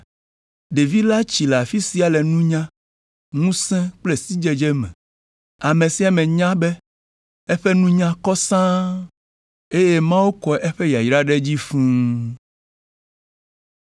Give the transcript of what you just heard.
Ɖevi la tsi le afi sia le nunya, ŋusẽ kple sidzedze me. Ame sia ame nya be eƒe nunya kɔ sãa, eye Mawu kɔ eƒe yayra ɖe edzi fũu.